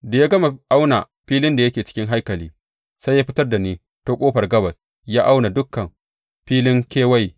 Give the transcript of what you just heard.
Da ya gama auna filin da yake cikin haikali, sai ya fitar da ni ta ƙofar gabas ya auna dukan filin kewaye.